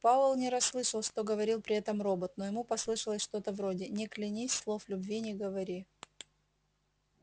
пауэлл не расслышал что говорил при этом робот но ему послышалось что-то вроде не клянись слов любви не говори